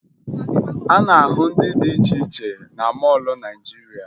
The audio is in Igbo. A na-ahụ ndị dị iche cihe na mọọlụ Naịjirịa